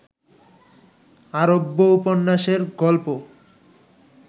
আরব্যোপন্যাসের গল্প